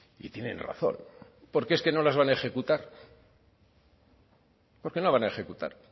y tienen razón porque es que no las van a ejecutar porque no van a ejecutar